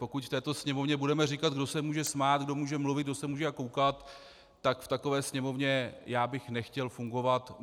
Pokud v této sněmovně budeme říkat, kdo se může smát, kdo může mluvit, kdo se může koukat, tak v takové sněmovně já bych nechtěl fungovat.